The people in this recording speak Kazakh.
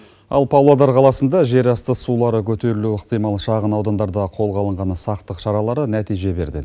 ал павлодар қаласында жер асты сулары көтерілуі ықтимал шағынаудандарда қолға алынған сақтық шаралары нәтиже берді